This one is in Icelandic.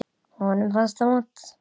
Honum fannst það vont.